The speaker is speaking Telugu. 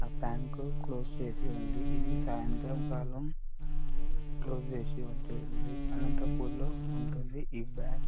ఆ బ్యాంకు క్లోజ్ చేసి ఉంది. ఇది సాయంత్రం కాలం క్లోజ్ చేసి ఉంటుంది. అనంతపురం లో ఉంటుంది ఈ బ్యాంక్ .